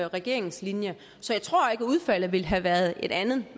regeringens linje så jeg tror ikke at udfaldet ville have været et andet